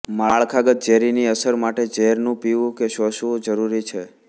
માળખાગત ઝેરીની અસર માટે ઝેરનું પીવું કે શોષાવું જરૂરી છે